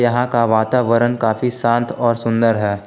यहां का वातावरण काफी शांत और सुंदर है।